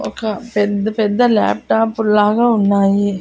ఒక పెద్ద పెద్ద లాప్టాప్ లాగా ఉన్నాయి.